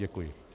Děkuji.